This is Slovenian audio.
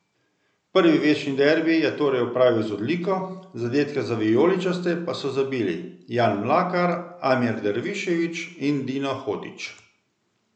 Prvi večni derbi je torej opravil z odliko, zadetke za vijoličaste pa so zabili Jan Mlakar, Amir Dervišević in Dino Hotić.